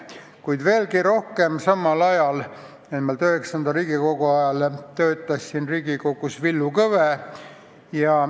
Kuid veelgi rohkem, samal ajal, nimelt IX Riigikogu ajal, töötas siin Riigikogus Villu Kõve.